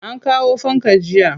An kawo fanka jiya.